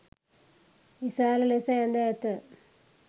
විශාල ලෙස ඇඳ ඇත